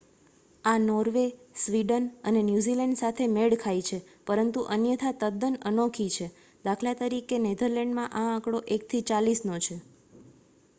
આ Norway Sweden અને New Zealand સાથે મેળ ખાય છે પરંતુ અન્યથા તદ્દન અનોખી છે દા. ત. નેધરલૅન્ડમાં આ આંકડો એકથી ચાલીસનો છે